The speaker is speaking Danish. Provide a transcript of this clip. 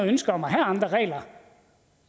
ønske om at have andre regler